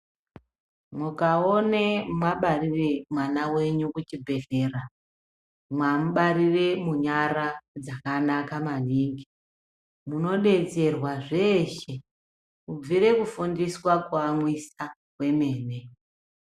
Mukaona mabarire mwana wenyu kuchibhedhlera mamubarira munyara dzakanaka maningi munodetserwa zveshe kubvira kufundiswa kuyamwiswa kwemene.